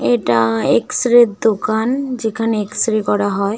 এটা এক্সরের এর দোকান যেখানে এক্স -রে করা হয় ।